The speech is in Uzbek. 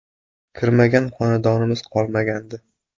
Kirmagan xonadonimiz qolmagandi.